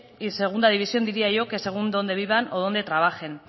y segunda división diría yo que según donde vivan o donde trabajen